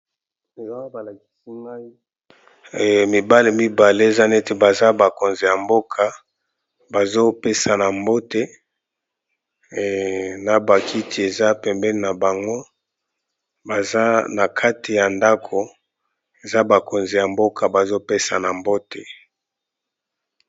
Awa ba lakisi ngai mibali mibale, eza neti baza bakonzi ya mboka bazo pesana mbote . Na ba kiti eza pembeni na bango, baza na kati ya ndaku, eza bakonzi ya mboka bazo pesana mbote .